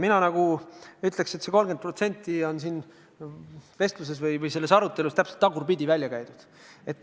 Mina ütleks, et see 30% on siin vestluses või selles arutelus täpselt tagurpidi välja käidud.